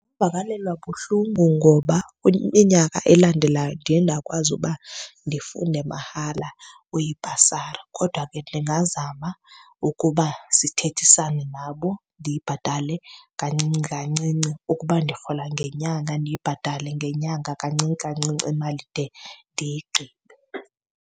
Vakalelwa buhlungu ngoba iminyaka elandelayo ndiye ndakwazi uba ndifunde mahala kwibhasari. Kodwa ke ndingazama ukuba sithethisane nabo ndiyibhatale kancinci kancinci. Ukuba ndirhola ngenyanga ndiyibhatale ngenyanga kancini kancinci imali ndide ndiyigqibe.